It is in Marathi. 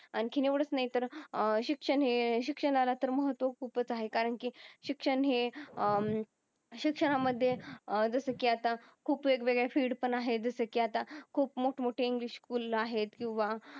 आणखी येवडच नाही तर शिक्षण हे शिक्षणाला तर महत्व खूपच आहे कारण कि शिक्षण हे अं शिक्षण मधे जस कि अत्ता खूप वेग वेगळे फिल्ड पण आहे जस कि अत्ता खूप मोठ मोठ इंग्लिश स्कूल आहेत किव्हा